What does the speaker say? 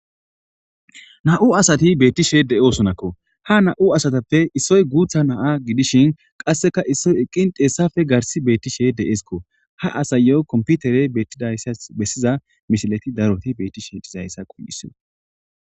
na7u asati beettishe de7osonakko ha na7u asatappe issoy guutha naa gidishin qasseka issoy eqqin teessafe garsi beettishe de7eeskko ha asayo komputere beettidayssas bessiza mishileti daroti beettishe dizayssa qun7iso